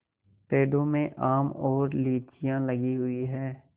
पेड़ों में आम और लीचियाँ लगी हुई हैं